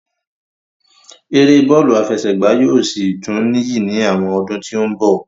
Eré bọ́lù àfẹsẹ̀gbá yóò sì tún níyì ní àwọn ọdún tí ó ń bọ̀